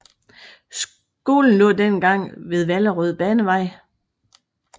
Skolen lå dengang på Vallerød Banevej